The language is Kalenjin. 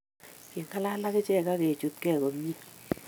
Kiking'alal akichek akechutkei komie